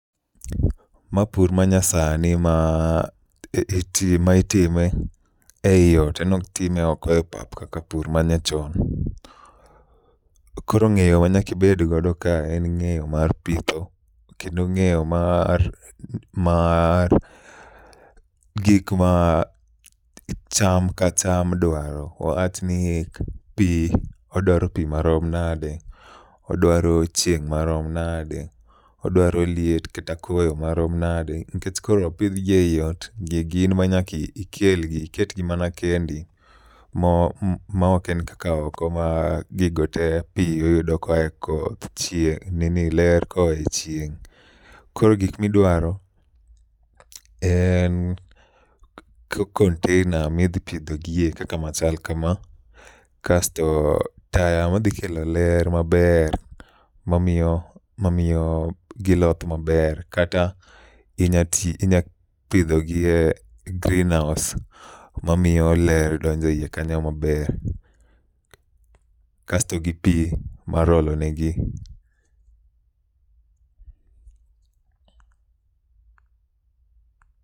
Ma pur ma nyasani ma iti ma itime ei ot, en ok time oko e pap kaka pur manyachon. Koro ng'eyo ma nyakibedgodo ka en ng'eyo mar pitho, kendo ng'eyo mar mar gik ma cham ka cham dwaro. Wa wachni pi odwaro pi marom nade? Odwaro chieng' marom nade? Odwaro liet kata koyo marom nade? Nikech koro opidhgi ei ot, gigi in ma nyaka ikelgi, iketgi mana kendo. Ma mo ok en kaka oko ma gigo te pi iyudo koa e koth, chieng' nini ler koa e chieng'. Koro gik midwaro en container midhi pidhogie kaka machal kama. Kasto taya madhi kelo ler maber mamiyo mamiyo giloth maber. Kata inya ti, inya pidhogie greenhouse mamiyo ler donje iye kanyo maber. Kasto gi pi mar olonegi.